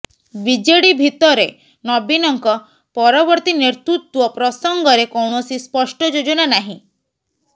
BJD ଭିତରେ ନବୀନଙ୍କ ପରବର୍ତ୍ତୀ ନେତୃତ୍ବ ପ୍ରସଙ୍ଗରେ କୌଣସି ସ୍ପଷ୍ଟ ଯୋଜନା ନାହିଁ